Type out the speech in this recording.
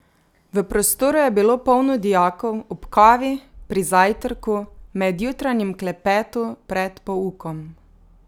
V prostoru je bilo polno dijakov, ob kavi, pri zajtrku, med jutranjim klepetu pred poukom.